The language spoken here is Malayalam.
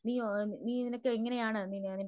നീയോ നിനക്ക് എങ്ങനെയാണ് നിൻറെ